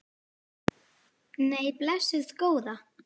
Nei, blessuð góða.